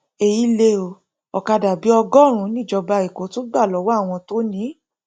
èyí lé o òkadà bíi ọgọrùnún níjọba èkó tún gbà lọwọ àwọn tó ní in